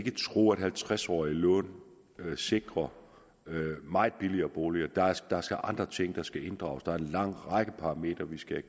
tro at halvtreds årige lån sikrer meget billigere boliger der er andre ting der skal inddrages der er en lang række parametre vi skal